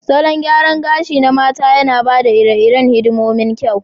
Salon gyaran gashi na mata yana ba da iri-irin hidimomin kyau.